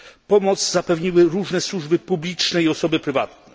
Pomoc zapewniły różne służby publiczne i osoby prywatne.